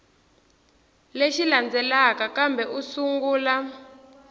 lexi landzelaka kambe u sungula